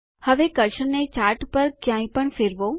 હવે કર્સરને ચાર્ટ પર ક્યાંપણ ફેરવો